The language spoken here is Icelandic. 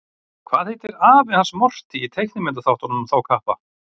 Hvað heitir afi hans Morty í teiknimyndaþáttunum um þá kappa?